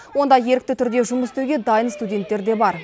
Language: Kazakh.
онда ерікті түрде жұмыс істеуге дайын студенттер де бар